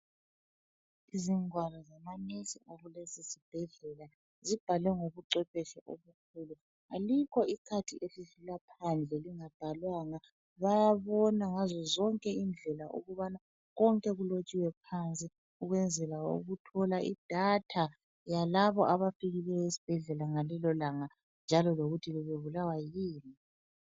Izingwalo zamanesi akulesisibhedlela zibhalwe ngobucwebeshe obukhulu. Alikho ikhadi elidlula phandle elingabhalwanga, bayabona ngazozonke indlela ukubana konke kulotshiwe phansi ukwenzela ukuthola idata yalabo abafikileyo esibhedlela ngalelolanga njalo lokuthi bebebulawa yini.